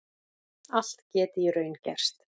Allt geti í raun gerst